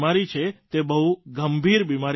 તે બહુ ગંભીર બિમારી નથી સર